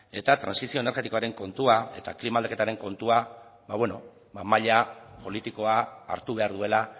eta trantsizio energetikoaren kontua eta klima aldaketaren kontua ba maila politikoa hartu behar duela